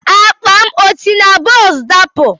Akpa m esi na bọs dapụ?